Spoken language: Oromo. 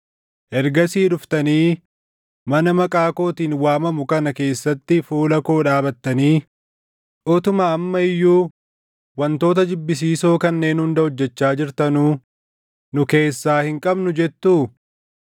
ergasii dhuftanii mana maqaa kootiin waamamu kana keessatti fuula koo dhaabatanii, utuma amma iyyuu wantoota jibbisiisoo kanneen hunda hojjechaa jirtanuu, “Nu keessaa hin qabnu” jettuu?